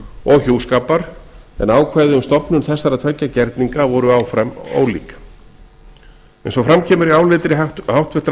og hjúskapar en ákvæði um stofnun þessara tveggja gerninga voru áfram ólík eins og fram kemur í áliti háttvirtrar